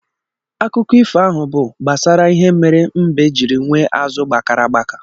Akụkọ ifo ahụ bụ gbasara ihe mere mbe jiri nwee azụ gbakara agbaka.